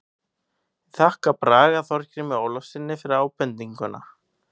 Ég þakka Braga Þorgrími Ólafssyni fyrir ábendinguna.